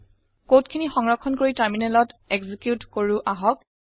code খিনি সংৰক্ষণ কৰি টাৰমিনেলত একজিকিউত কৰো আহক